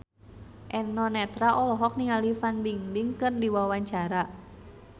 Eno Netral olohok ningali Fan Bingbing keur diwawancara